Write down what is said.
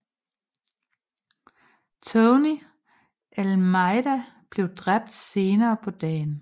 Tony Almeida blev dræbt senere på dagen